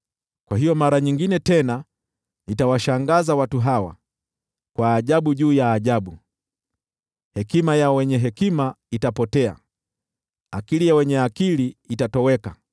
Kwa hiyo mara nyingine tena nitawashangaza watu hawa, kwa ajabu juu ya ajabu. Hekima ya wenye hekima itapotea, nayo akili ya wenye akili itatoweka.”